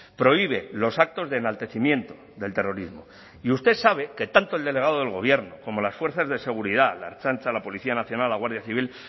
prohíbe los actos de enaltecimiento del terrorismo y usted sabe que tanto el delegado del gobierno como las fuerzas de seguridad la ertzaintza la policía nacional la guardia civil